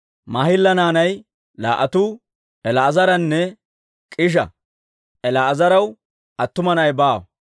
Maahila naanay laa"atuu El"aazaranne K'iisha. El"aazaraw attuma na'i baawa.